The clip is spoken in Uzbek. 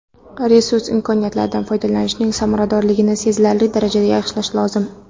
Resurs imkoniyatlaridan foydalanishning samaradorligini sezilarli darajada yaxshilash lozim.